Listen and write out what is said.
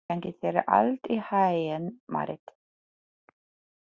Gangi þér allt í haginn, Marít.